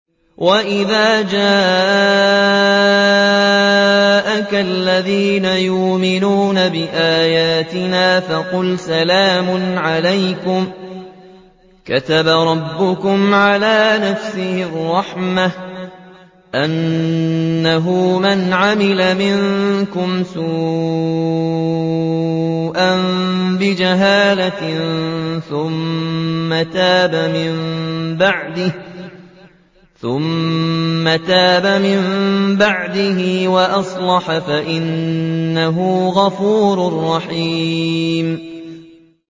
وَإِذَا جَاءَكَ الَّذِينَ يُؤْمِنُونَ بِآيَاتِنَا فَقُلْ سَلَامٌ عَلَيْكُمْ ۖ كَتَبَ رَبُّكُمْ عَلَىٰ نَفْسِهِ الرَّحْمَةَ ۖ أَنَّهُ مَنْ عَمِلَ مِنكُمْ سُوءًا بِجَهَالَةٍ ثُمَّ تَابَ مِن بَعْدِهِ وَأَصْلَحَ فَأَنَّهُ غَفُورٌ رَّحِيمٌ